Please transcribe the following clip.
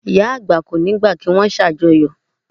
Ìyá àgbà kò ní gbà kí wón ṣàjọyọ̀